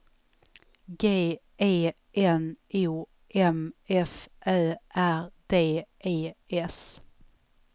G E N O M F Ö R D E S